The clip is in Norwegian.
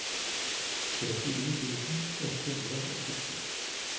trettini tusen ett hundre og sytten